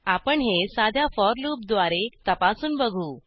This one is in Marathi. आपण हे साध्या फोर लूपद्वारे तपासून बघू